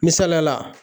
Misaliyala